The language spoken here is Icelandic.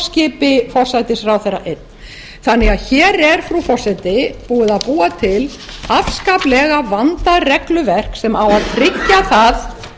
skipi forsætisráðherra einn þannig að hér er frú forseti búið að búa til afskaplega vandað regluverk sem á að tryggja það